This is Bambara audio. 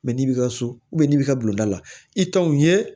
n'i bi ka so n'i b'i ka bulon da la i t'o ye